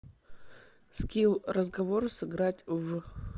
скилл разговор сыграть в